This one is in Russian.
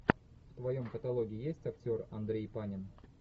в твоем каталоге есть актер андрей панин